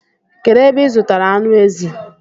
Kedu ebe ị zụtara anụ ezi?